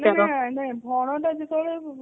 ନା ନା ବ୍ରଣ ଟା ଯେତେବେଳେ